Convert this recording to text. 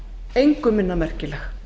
engu minna merkileg